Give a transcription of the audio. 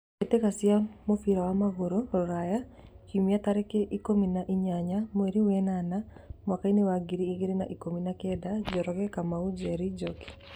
Mbĩtĩka cia mũbira wa magũrũ Ruraya Kiumia tarĩki ikũmi na inyanya mweri wenana mwakainĩ wa ngiri igĩrĩ na ikũmi na kenda : Njoroge, Kamau, Njeri, Njoki.